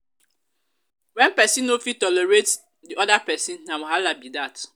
when persin no fit tolerate di other persin na wahala be that